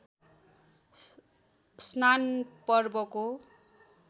स्नान पर्वको